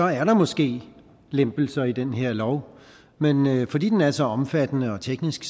er der måske lempelser i den her lov men fordi den er så omfattende og teknisk